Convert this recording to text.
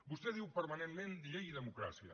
vostè diu permanentment llei i democràcia